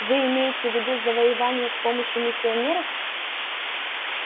вы имеете в виду завоевание с помощью миссионеров